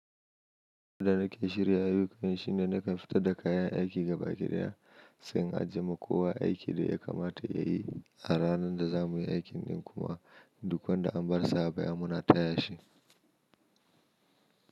Abinda nake shirya yi kawai shine nakan fita da kayan aiki gaba ki ɗaya, sai in ajiye ma kowa aikin da ya kamata ya yi a ranan da za mu yi aikin nan kuma duk wanda an bar sa baya muna taya shi.